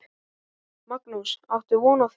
Magnús: Áttu von á því?